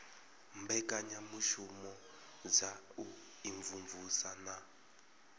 mbekanyamushumo dza u imvumvusa na